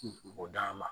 O d'a ma